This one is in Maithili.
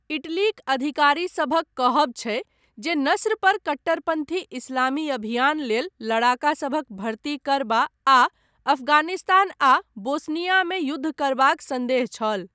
इटलीक अधिकारीसभक कहब छै जे नस्र पर कट्टरपन्थी इस्लामी अभियान लेल लड़ाकासभक भर्ती करबा आ अफगानिस्तान आ बोस्नियामे युद्ध करबाक सन्देह छल।